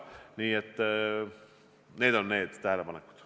Sellised tähelepanekud.